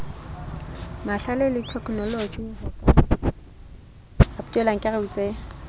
mahlale le theknoloji ho ka